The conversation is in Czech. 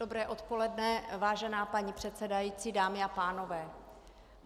Dobré odpoledne, vážená paní předsedající, dámy a pánové.